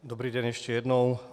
Dobrý den, ještě jednou.